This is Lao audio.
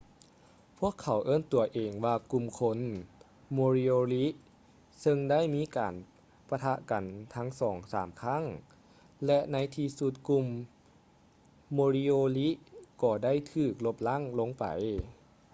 ພວກເຂົາເອີ້ນຕົວເອງວ່າກຸ່ມຄົນ moriori ເຊິ່ງໄດ້ມີການປະທະກັນສອງສາມຄັ້ງ ແລະ ໃນທີ່ສຸດກຸ່ມ moriori ກໍໄດ້ຖືກລົບລ້າງໄປ